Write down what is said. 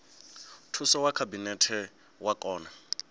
thuso ya khabinete wa kona